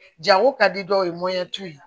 Jago ka di dɔw ye